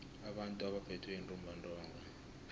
abantu abaphethwe yintumbantonga